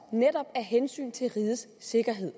af hensyn til rigets sikkerhed